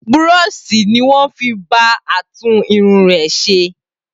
Burooṣi ni wọ́n fi bá a tún irun rè ṣe.